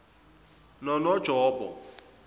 nononjobo